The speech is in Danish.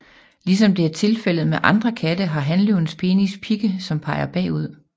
Ligesom det er tilfældet med andre katte har hanløvens penis pigge som peger bagud